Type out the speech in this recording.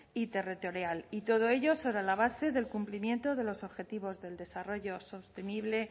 y territorial y todo ello sobre la base del cumplimiento de los objetivos de desarrollo sostenible